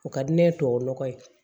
O ka di ne ye tubabu nɔgɔ ye